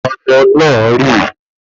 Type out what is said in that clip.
Omo náà rì